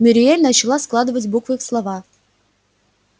мюриель начала складывать буквы в слова